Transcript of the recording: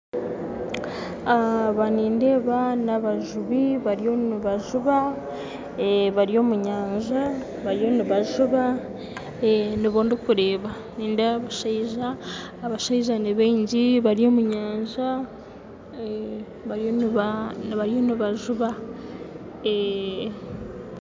Aba nindeeba nabajubi bariyo nibajuba bari omu nyanja bariyo nibajuba nibo ndikureeba, nindeeba abashaija abashaija nibingi bari omu omu nyanja bariyo nibajuba.